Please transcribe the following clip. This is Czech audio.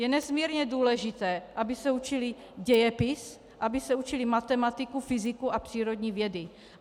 Je nesmírně důležité, aby se učily dějepis, aby se učily matematiku, fyziku a přírodní vědy.